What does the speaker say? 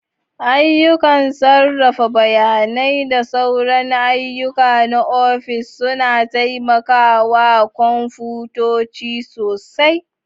Ayyukan sarrafa bayanai da sauran ayyuka na ofis suna taimaka wa kwamfutoci sosai.